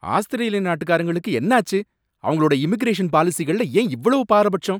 ஆஸ்திரேலிய நாட்டுக்காரங்களுக்கு என்னாச்சு? அவங்களோட இமிகிரேஷன் பாலிசிகள்ல ஏன் இவ்ளோ பாரபட்சம்?